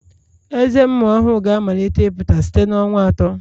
Ezé ụmụ ọhụrụ ga-amalite ịpụta site na ọnwa atọ